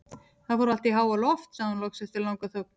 Það fór allt í háaloft, sagði hún loks eftir langa þögn.